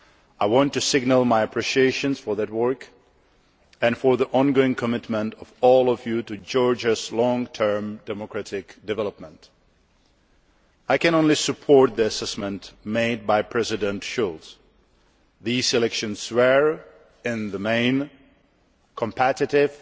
I want to signal my appreciation for that work, and for the ongoing commitment of all Members to Georgia's long term democratic development. I can only support the assessment made by President Schulz these elections were, in the main, competitive,